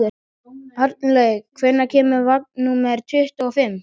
Arnlaug, hvenær kemur vagn númer tuttugu og fimm?